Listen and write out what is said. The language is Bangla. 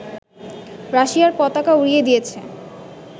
রাশিয়ার পতাকা উড়িয়ে দিয়েছে